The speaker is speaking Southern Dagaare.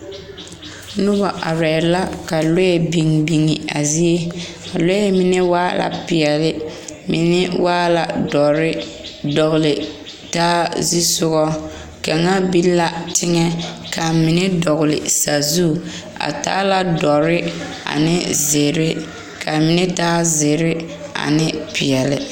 Noba arɛɛ la ka lɔɛ biŋ biŋ a zie a lɔɛ mine waa la peɛle mine waa la dɔre dɔgle taa zusoga kaŋa biŋ la teŋɛ ka mine dɔgle sazu a taa la dɔre ane zeere ka mine taa zeere. ane peɛle.